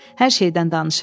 Hər şeydən danışırdılar.